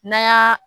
N'a y'a